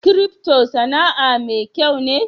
"crypto" Sana'a mai kyau me?